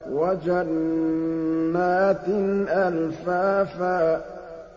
وَجَنَّاتٍ أَلْفَافًا